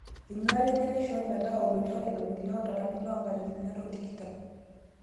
Enyuata enye naishoo metaa oloitore irkulie tolari le 2020